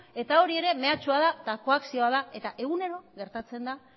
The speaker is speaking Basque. eta hori ere mehatxua da eta koakzioa da eta egunero gertatzen da